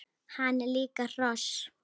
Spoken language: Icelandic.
Hann er líka hross!